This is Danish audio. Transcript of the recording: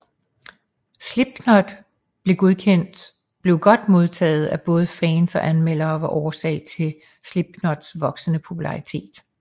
Slipknot blev godt modtaget af både fans og anmeldere og var årsag til Slipknots voksende popularitet